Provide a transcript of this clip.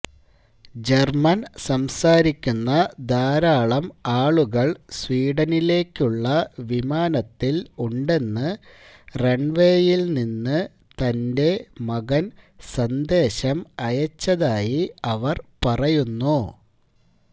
German സംസാരിക്കുന്ന ധാരാളം ആളുകൾ സ്വീഡനിലേക്കുള്ള വിമാനത്തിൽ ഉണ്ടെന്ന് റൺവേയിൽ നിന്ന് തന്റെ മകൻ സന്ദേശം അയച്ചതായി അവർ പറയുന്നു